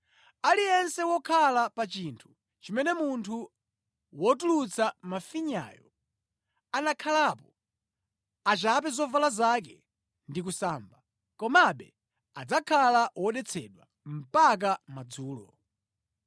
Aliyense wokhala pa chinthu chimene munthu wotulutsa mafinyayo anakhalapo, achape zovala zake ndi kusamba. Komabe adzakhala wodetsedwa mpaka madzulo.